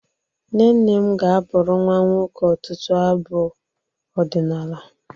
Nne nne m ga-abụrụ nnwa nwoke ọtụtụ abụ ọdịnala